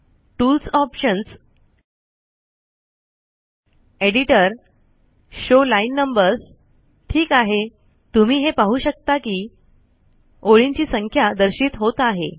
tools options editor show line numbers ठीक आहे तुम्ही हे पाहू शकता कि ओळींची संख्या दर्शित होत आहे